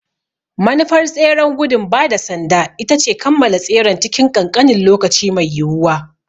Manufar tseren gudun ba da sanda ita ce a kammala tseren cikin ƙanƙanin lokaci mai yiwuwa.